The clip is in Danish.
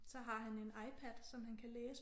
Så har han en iPad som han kan læse